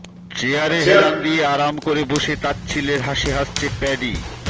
চেয়ারে হেলান দিয়ে আরাম করে বসে তাচ্ছিল্যের হাসি হাসছে প্যাডি